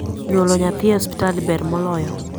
nyuolo nyathi e hopital ber moloyo